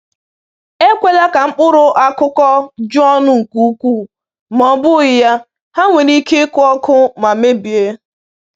Ekwela ka mkpụrụ akù̀kọ ju ọnụ nke ukwuu, ma ọ bụghị ya, ha nwere ike ịkụ ọkụ ma mebie.